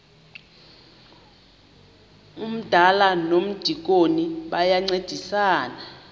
umdala nomdikoni bayancedisana